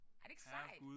Er det ikke sejt?